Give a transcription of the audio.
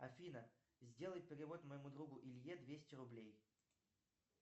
афина сделай перевод моему другу илье двести рублей